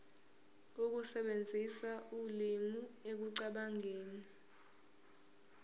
ukusebenzisa ulimi ekucabangeni